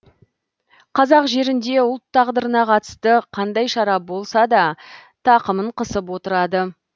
қазақ жерінде ұлт тағдырына қатысты қандай шара болса да тақымын қысып отырады